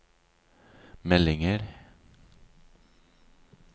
meldinger